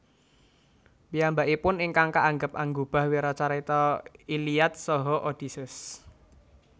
Piyambakipun ingkang kaanggep anggubah wiracarita Iliad saha Odysseus